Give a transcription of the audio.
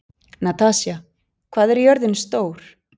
Natasja, hvað er jörðin stór?